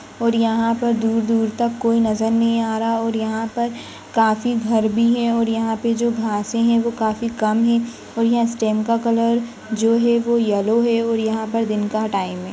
और यहाँ पर दूर दूर तक कोई नज़र नहीं आरहा और यहाँ पर काफी घर भी है और यहाँ पर जो घास है वो काफी कम है और यहाँ स्टेम का कलर जो है वो येलो है और यहाँ पर दिन का टाइम है।